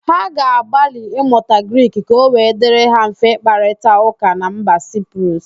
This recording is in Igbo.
Ha ga-agbalị ịmụta Grik ka ọ wee dirị ha mfe ịkparịtaụ́kà na mba Siprus?